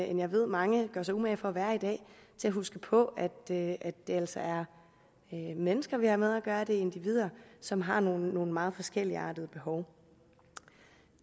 end jeg ved at mange gør sig umage for at være i dag til at huske på at det altså er mennesker vi har med at gøre det er individer som har nogle meget forskelligartede behov og